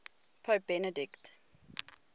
pope benedict